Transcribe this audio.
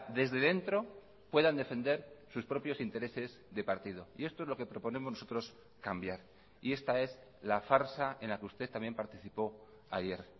desde dentro puedan defender sus propios intereses de partido y esto es lo que proponemos nosotros cambiar y esta es la farsa en la que usted también participó ayer